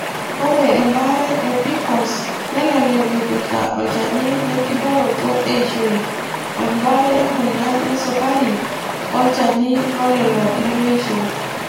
Ore embare e PCOS nelelek epirta olchani lenkiboroto eishoi, embare emoyian esukari o chani lolelo lemeisho.